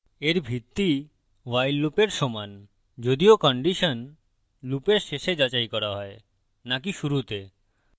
এর ভিত্তি while লুপের সমান যদিও condition লুপের শেষে যাচাই করা হয় নাকি শুরুতে